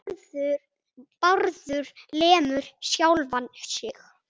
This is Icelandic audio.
Bárður lemur sjálfan sig.